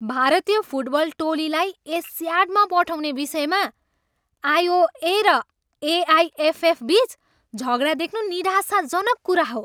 भारतीय फुटबल टोलीलाई एसियाडमा पठाउने विषयमा आइओए र एआइएफएफबिच झगडा देख्नु निराशाजनक कुरा हो।